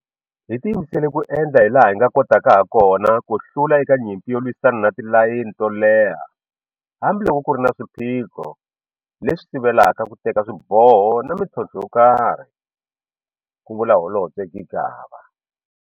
Hi tiyimisele ku endla hilaha hi kotaka hakona ku hlula eka nyimpi yo lwisana na tilayini to leha hambiloko ku ri na swiphiqo leswi sivelaka ku teka swiboho na mitlhontlho yokarhi, ku vula Holobye Gigaba.